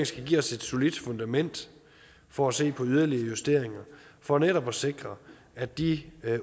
skal give os et solidt fundament for at se på yderligere justeringer for netop at sikre at de